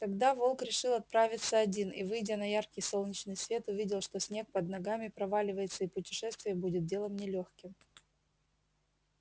тогда волк решил отправиться один и выйдя на яркий солнечный свет увидел что снег под ногами проваливается и путешествие будет делом не лёгким